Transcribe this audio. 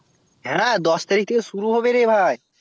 হ্যাঁ দশ তারিখ থেকে শুরু হবে রে ভাই